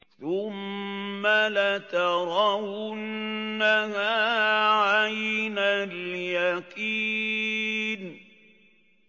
ثُمَّ لَتَرَوُنَّهَا عَيْنَ الْيَقِينِ